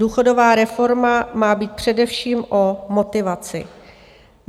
Důchodová reforma má být především o motivaci.